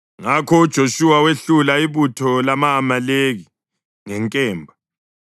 Ngakho uJoshuwa wehlula ibutho lama-Amaleki ngenkemba.